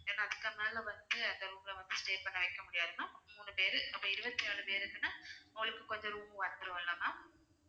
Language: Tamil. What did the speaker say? ஏன்னா அதுக்கு மேல வந்து அந்த room ல வந்து stay பண்ண வைக்க முடியாது ma'am மூணு பேரு அப்ப இருவத்தி நாலு பேருக்குனா உங்களுக்கு கொஞ்சம் room வந்திரும் இல்ல ma'am